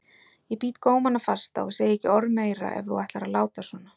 Ég bít gómana fasta og segi ekki orð meira ef þú ætlar að láta svona.